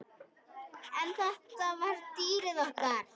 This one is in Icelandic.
En þetta var dýrið okkar.